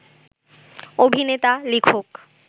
অভিনেতা, লেখক